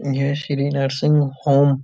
यह Shri nursing home --